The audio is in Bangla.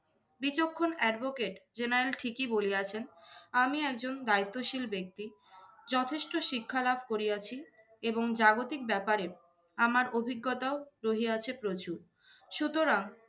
বিচক্ষণ advocate general ঠিকই বলিয়াছেন। আমি একজন দায়িত্বশীল ব্যক্তি যথেষ্ট শিক্ষা লাভ করিয়াছি এবং জাগতিক ব্যাপারে আমার অভিজ্ঞতাও রহিয়াছে প্রচুর। সুতরাং